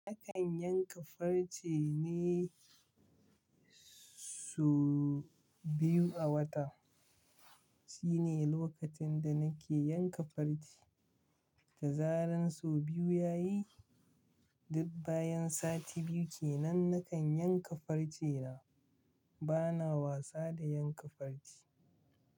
Nakan yanka farce ne sau biyu a wata. Shine lokacin da na ke yanka farce, da zaran sau biyu ya yi, duk bayan sati biyu kenan na kan yanka farce na. Ba na wasa da yanka farce.